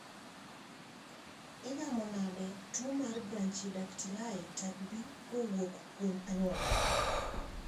Igamo nade tuo mar Brachydactyly type B kowuok kuom anyuola?